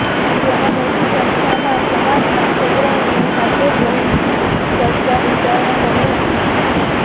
જેમાં મોટી સંખ્યામાં સમાજના અગ્રણીઓ હાજર રહી ચર્ચા વિચારણા કરી હતી